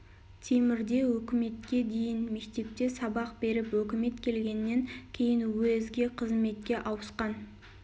темірде өкіметке дейін мектепте сабак беріп өкімет келгеннен кейін уезге қызметке ауысқан